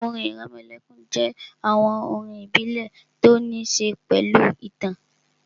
Orin ìrẹmọlẹ́kún jẹ́ àwọn orin ìbílẹ̀ tó ní ṣe pẹ̀lú ìtàn